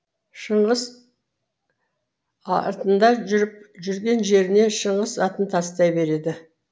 шыңғыс артында жүріп жүрген жеріне шыңғыс атын тастай береді